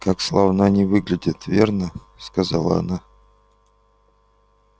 как славно они выглядят верно сказала она